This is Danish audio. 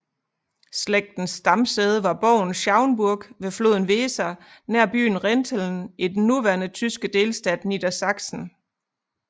Slægtens stamsæde var borgen Schauenburg ved floden Weser nær byen Rinteln i den nuværende tyske delstat Niedersachsen